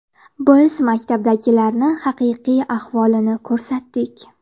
Biz maktablardagi haqiqiy ahvolni ko‘rsatdik.